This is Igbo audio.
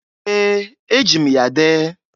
Ee! E jim ya dee.